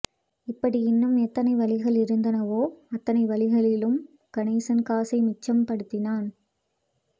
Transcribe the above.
இப்படி இன்னும் எத்தனை வழிகள் இருந்தனவோ அத்தனை வழிகளிலும் கணேசன் காசை மிச்சம் பிடித்தான்